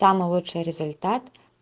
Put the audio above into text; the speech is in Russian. самый лучший результат